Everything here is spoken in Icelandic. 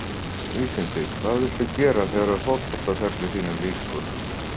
Vísindi Hvað viltu gera þegar að fótboltaferli þínum lýkur?